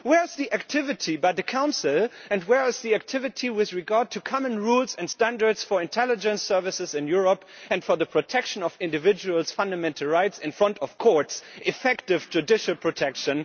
Where is the activity by the Council, and where is the activity with regard to common rules and standards for intelligence services in Europe and for the protection of each individual's fundamental right before the courts, effective judicial protection?